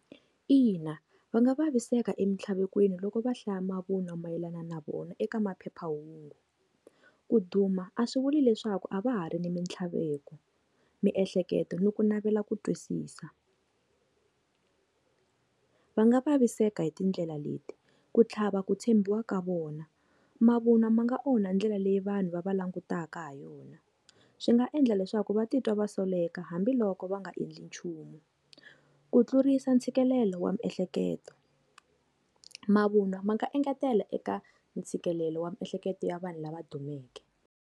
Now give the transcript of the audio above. Ina, va nga vaviseka e mitlhaveko yini loko va hlaya mavunwa mayelana na vona eka maphephahungu ku duma a swi vuli leswaku a va ha ri ni mitlhaveko, miehleketo ni ku navela ku twisisa va nga vaviseka hi tindlela leti ku tlhava ku tshembiwa ka vona mavunwa ma nga onha ndlela leyi vanhu va va langutaka ha yona swi nga endla leswaku va titwa va soleka eka hambiloko va nga endli nchumu ku tlurisa ntshikelelo wa miehleketo mavunwa ma nga engetela eka ntshikelelo wa miehleketo ya vanhu lava dumeke.